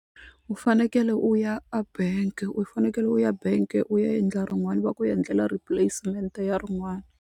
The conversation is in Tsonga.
U fanekele u ya a bank u fanekele u ya bank u ya endla rin'wana va ku ya ndlela replacement ya rin'wana.